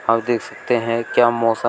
आप देख सकते हैं क्या मौसम--